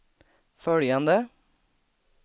följande